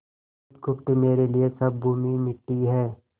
बुधगुप्त मेरे लिए सब भूमि मिट्टी है